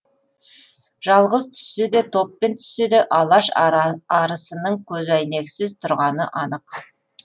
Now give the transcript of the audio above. жалғыз түссе де топпен түссе де алаш арысының көзәйнексіз тұрғаны анық